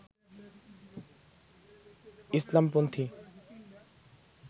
ইসলাম-পন্থী